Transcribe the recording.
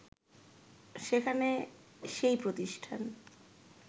সেখানে সেই প্রতিষ্ঠান